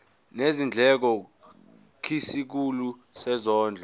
nezindleko kwisikhulu sezondlo